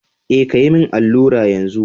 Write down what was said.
Eh kayi min allura yanzu.